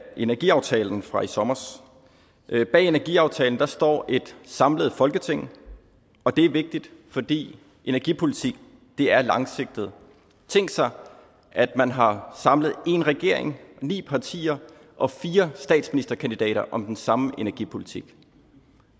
energiaftalen fra i sommers bag energiaftalen står et samlet folketing og det er vigtigt fordi energipolitik er langsigtet tænk sig at man har samlet én regering ni partier og fire statsministerkandidater om den samme energipolitik